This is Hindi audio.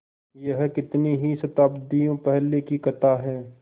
यह कितनी ही शताब्दियों पहले की कथा है